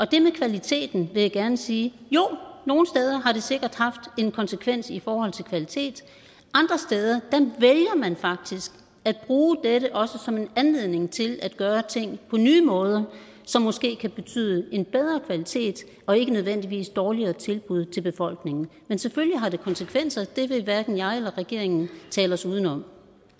det med kvaliteten vil jeg gerne sige jo nogle steder har det sikkert haft en konsekvens i forhold til kvalitet andre steder vælger man faktisk at bruge dette også som en anledning til at gøre ting på nye måder som måske kan betyde en bedre kvalitet og ikke nødvendigvis dårligere tilbud til befolkningen men selvfølgelig har det konsekvenser og det vil hverken jeg eller regeringen tale os uden om